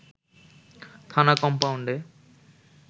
থানা কমপাউন্ডে